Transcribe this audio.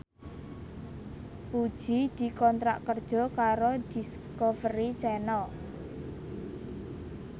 Puji dikontrak kerja karo Discovery Channel